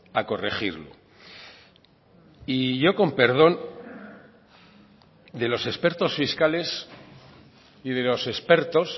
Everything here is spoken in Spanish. a corregirlo y yo con perdón de los expertos fiscales y de los expertos